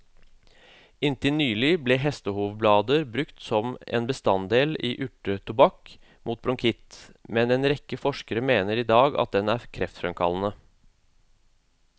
Inntil nylig ble hestehovblader brukt som en bestanddel i urtetobakk mot bronkitt, men en rekke forskere mener i dag at den er kreftfremkallende.